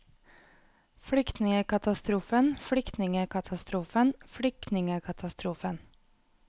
flyktningekatastrofen flyktningekatastrofen flyktningekatastrofen